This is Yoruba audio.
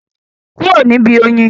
Kúrò níbi oyin?